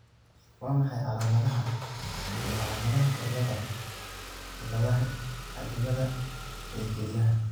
Waa maxay calaamadaha iyo calaamadaha cilladaha cilladaha addimada ee kelyaha?